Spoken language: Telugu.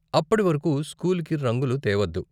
అప్పటివరకు, స్కూల్కి రంగులు తేవద్దు.